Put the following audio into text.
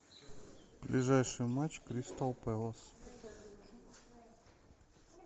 ближайший матч кристал пэлас